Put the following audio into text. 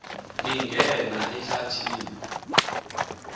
angena ehlathi ni